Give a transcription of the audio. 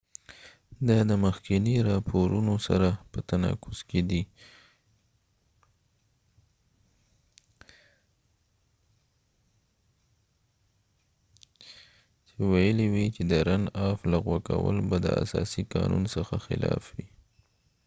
دا د مخکېنی راپورونو سره په تناقض کې دي چې ويلی یې وي د رن افrunoff لغو کول به د اساسی قانون څخه خلاف وي